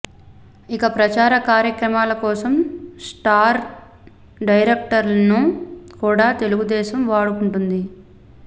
ఇక ప్రచార కార్యక్రమాల కోసం స్టార్ డైరెక్టర్స్ను కూడా తెలుగుదేశం వాడుకుంటుంది